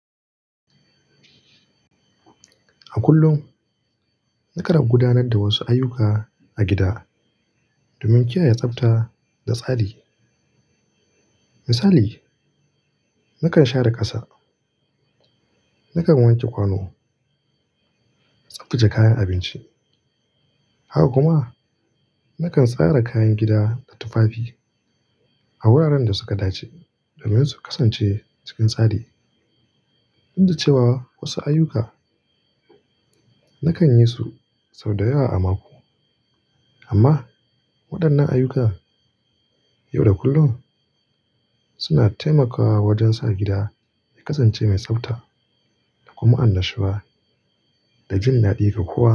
A kullum, nakan gudanar da wasu ayuka a gida domin kiyaye tsafta da tsari. Misali, nakan share ƙasa, na wanke kwano, tsabtace kayan abinci. Haka kuma, nakan tsara kayan gida da tufafi a wuraren da suka dace domin su kasance cikin tsari. Duk da cewa wasu ayuka nakan yi sau da yawa a mako, amma waɗannan ayuka yau da kullum suna taimakawa wajen sa gida ya kasance mai tsafta da kuma annashuwa da jin daɗi ga kowa.